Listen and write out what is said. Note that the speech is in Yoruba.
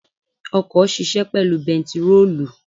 Ọkọ̀ ṣisẹ́ pẹ̀lú bentiróòlù.